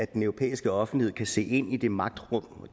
den europæiske offentlighed kan se ind i de magtrum